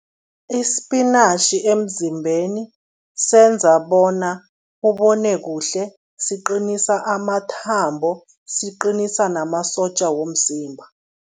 Isipinatjhi emzimbeni senza bona ubone kuhle, siqinisa amathambo, siqinisa namasotja womzimba.